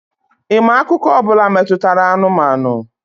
Ị ma akụkọ ọ bụla metụtara anụmanụ?